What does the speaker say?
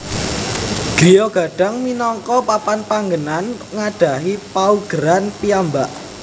Griya Gadang minangka papan panggenan nggadhahi paugeran piyambak